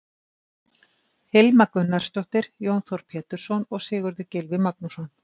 Hilma Gunnarsdóttir, Jón Þór Pétursson og Sigurður Gylfi Magnússon.